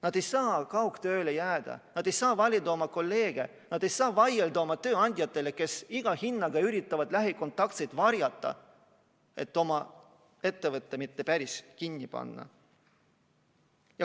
Nad ei saa kaugtööle jääda, nad ei saa valida oma kolleege, nad ei saa vaielda oma tööandjatega, kes iga hinna eest üritavad lähikontaktseid varjata, et ettevõtet mitte päris kinni panna.